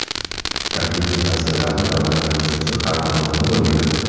Taklif-tavsiyalarni davlat komissiyasi har tomonlama o‘rganadi.